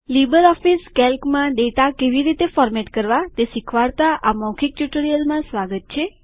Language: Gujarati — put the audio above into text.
લીબરઓફીસ કેલ્કમાં ડેટા કેવી રીતે ફોર્મેટ કરવા તે શીખવાડતા આ મૌખિક ટ્યુટોરીયલમાં સ્વાગત છે